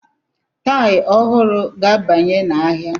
Tii ọhụrụ ga-abanye n'ahịa.